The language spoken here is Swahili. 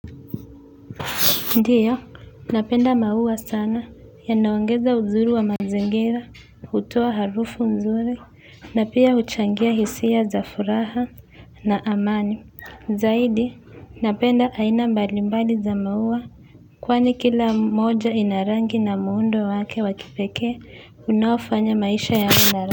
Ndiyo, napenda maua sana, yanaongeza uzuri wa mazingira, hutoa harufu nzuri, na pia huchangia hisia za furaha na amani. Zaidi, napenda aina mbalimbali za maua, kwani kila moja ina rangi na muundo wake wa kipekee, unaofanya maisha yawe na rangi.